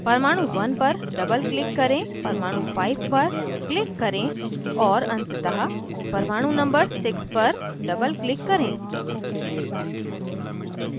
परमाणु 1 पर double click करें परमाणु 5 पर click करें और अंततः परमाणु number 6 पर doubleclick करें